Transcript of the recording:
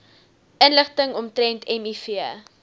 inligting omtrent miv